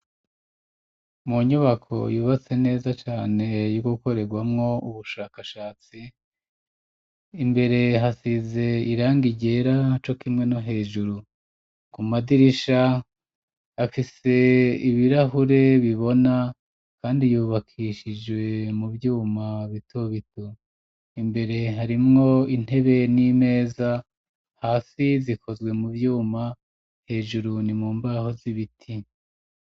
Mu nyubako yubatse neza cane ,yogukorerwamwo ubushakashatsi ,imbere hasize irangi ryera co kimwe no hejuru ku madirisha, afise ibirahure bibona kandi yubakishijwe mu vyuma bitobito, imbere harimwo intebe n'imeza hasi zikozwe mu vyuma, hejuru ni mumbaho z'ibiti.